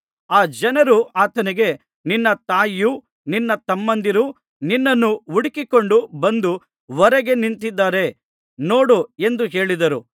ಆ ಜನರು ಆತನಿಗೆ ನಿನ್ನ ತಾಯಿಯೂ ನಿನ್ನ ತಮ್ಮಂದಿರೂ ನಿನ್ನನ್ನು ಹುಡುಕಿಕೊಂಡು ಬಂದು ಹೊರಗೆ ನಿಂತಿದ್ದಾರೆ ನೋಡು ಎಂದು ಹೇಳಿದರು